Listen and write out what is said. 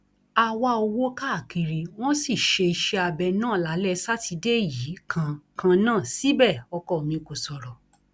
a wá owó káàkiri wọn sì ṣe iṣẹabẹ náà lálẹ sátidé yìí kan kan náà síbẹ ọkọ mi kò sọrọ